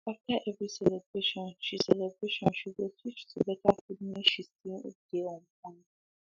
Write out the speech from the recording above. after every celebration she celebration she go switch to better food make she still dey on point